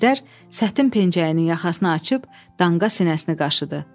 Əjdər sətin pencəyini yaxasına açıb, danqa sinəsini qaşıdı.